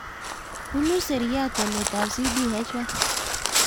Punu seiat walet ab CDH1